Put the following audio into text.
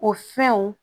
O fɛnw